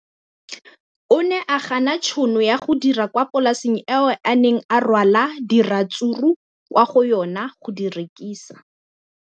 O ne a gana tšhono ya go dira kwa polaseng eo a neng rwala diratsuru kwa go yona go di rekisa.